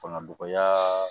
Fanga dɔgɔya